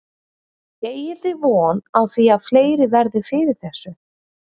Eigið þið von á því að fleiri verði fyrir þessu?